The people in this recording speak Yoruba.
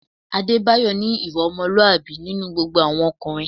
Adébáyọ̀ ní ìwà ọmọlúwàbí nínú gbogbo àwọn ọkùnrin